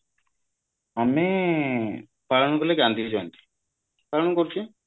ଆମେ ପାଳନ କଲେ ଗାନ୍ଧୀଜି ଜୟନ୍ତୀ ପାଳନ କରୁଚେ